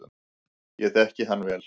Ég þekki hann vel.